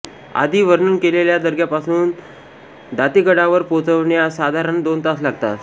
आधी वर्णन केलेल्या दर्ग्यापासून दातेगडावर पोहोचण्यास साधारण दोन तास लागतात